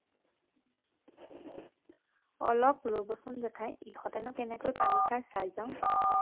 অলপ বৰচোন জেঠাই ইহঁতেনো কেনেকৈ পানী খায় চাই যাওঁ